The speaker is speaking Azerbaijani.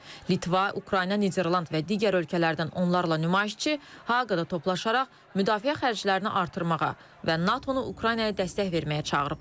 Litva, Ukrayna, Niderland və digər ölkələrdən onlarla nümayişçi Haqada toplaşaraq müdafiə xərclərini artırmağa və NATO-nu Ukraynaya dəstək verməyə çağırıblar.